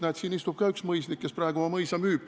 Näed, ka siin istub üks mõisnik, kes praegu oma mõisa müüb.